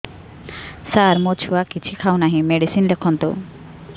ସାର ମୋ ଛୁଆ କିଛି ଖାଉ ନାହିଁ ମେଡିସିନ ଲେଖନ୍ତୁ